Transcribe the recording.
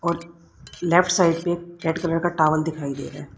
और left side पे red colour का टावल दिखाई दे रहा है।